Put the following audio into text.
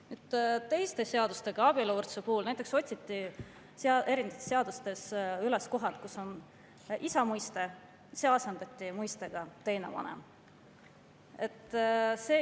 Abieluvõrdsuse puhul näiteks otsiti seadustes üles kohad, kus on isa mõiste, ja see asendati mõistega "teine vanem".